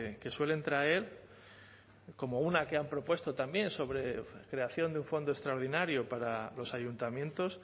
que suelen traer como una que han propuesto también sobre creación de un fondo extraordinario para los ayuntamientos